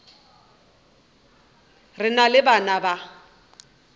re na le bana ba